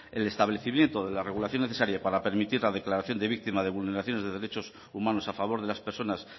el establecimiento de la regulación necesaria para permitir la declaración de víctima de vulneración de derechos humanos a favor de las personas